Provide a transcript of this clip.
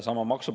See on reaalsus.